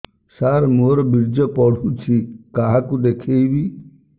ସାର ମୋର ବୀର୍ଯ୍ୟ ପଢ଼ୁଛି କାହାକୁ ଦେଖେଇବି